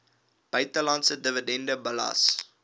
buitelandse dividende belas